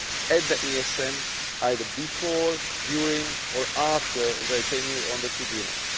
at the ESM, either before, during or after their tenure on the tribunal.